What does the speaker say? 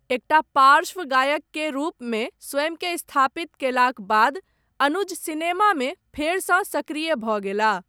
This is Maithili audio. एकटा पार्श्व गायक केर रूपमे, स्वयंकेँ स्थापित कयलाक बाद, अनुज, सिनेमामे फेरसँ सक्रिय भऽ गेलाह।